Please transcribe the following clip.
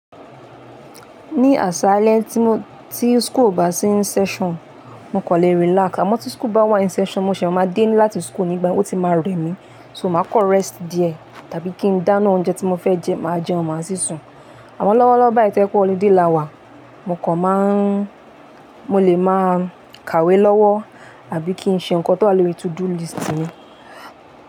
Ní àsálẹ́ tí mo, tí school bá sí in session, mo kò lè relax. Àmọ́ tí school bá wá in session, mo ṣẹ̀ máa dé láti school nígbà, o ti máa rẹ mi. So, màá kọ́ rest díẹ̀, tàbí kí n dáná oúnjẹ tí mo fẹ́ jẹ, màá jẹun máa sì sùn. Àmọ́ lọ́wọ́lọ́wọ́ báyìí, tó ẹ pé holiday là wa, mo kọ̀ máa n, mo lè máa kàwé lọ́wọ́ àbí kí n ṣe nǹkan tó wà lórí to do list mi.